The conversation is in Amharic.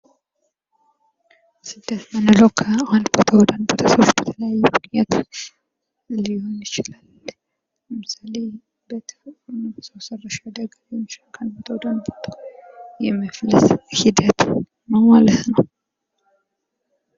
ስደት ማለት ከአንድ ሀገር ወይም አካባቢ ወደ ሌላ ቦታ በቋሚነት ወይም ለረጅም ጊዜ ለመኖር መሄድ ማለት ነው።